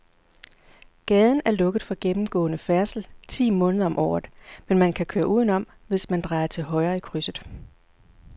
Gaden er lukket for gennemgående færdsel ti måneder om året, men man kan køre udenom, hvis man drejer til højre i krydset.